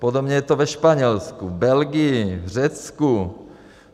Podobně je to ve Španělsku, Belgii, Řecku.